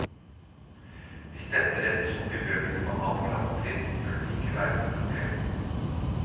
Hvis dette rettes opp i bøkene på annet klassetrinn, burde det ikke være noe problem.